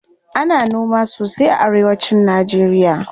Ana noma sosai a arewa cin najeriya.